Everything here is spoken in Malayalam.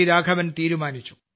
രാഘവൻ തീരുമാനിച്ചു